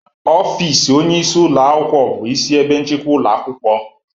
Ọfịs onye isi ụlọ akwụkwọ bụ isi ebe nchịkwa ụlọ akwụkwọ.